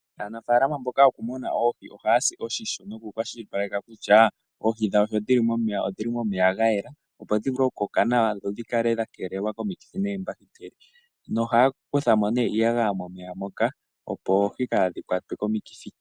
Aanafaalama mboka yokumuna oohi ohaya si otyisho nokukwashilipaleka oohi dhawo sho dhili momeya odhili momeya gayela dho dhivule okukoka nawa dho dhikale dhakeelelwa komikithi noombakiteli na ohaya kuthamo ne iiyagaya momeya moka opo oohi kaadhikwatwe komikithi.